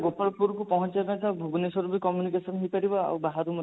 ଗୋପାଳପୁରକୁ ପହଞ୍ଚିବା ପାଇଁ sir ଭୁବନେଶ୍ବରରୁ ବି communication ହେଇପାରିବ ଆଉ ବାହାରୁ ମଧ୍ୟ